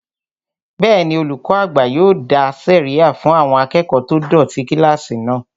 Bẹ́ẹ̀ni, olùkọ́ àgbà yóò dá sẹ̀ríyà fún àwọn akẹ́kọ̀ọ́ tó dọ̀tí kílásì náà